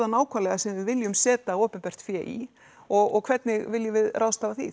nákvæmlega sem við viljum setja opinbert fé í og hvernig viljum við ráðstafa því